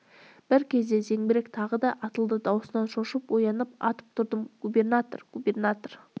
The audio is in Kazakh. бір кезде зеңбірек тағы да атылды даусынан шошып оянып атып тұрдым губернатор губернатор